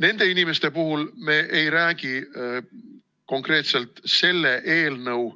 Nende inimeste puhul me ei räägi konkreetselt selle eelnõu